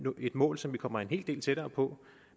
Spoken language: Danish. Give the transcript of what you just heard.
et mål som vi kommer en hel del tættere på